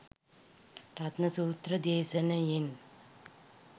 රතන සූත්‍ර දේශනයෙන්